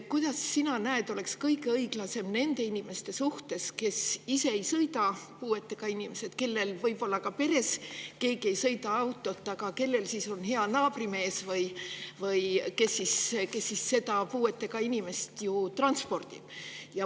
Kuidas sina näed, milline oleks kõige õiglasem nende puuetega inimeste suhtes, kes ise ei sõida ja kellel võib-olla ka peres keegi ei sõida autoga, aga keda hea naabrimees transpordib?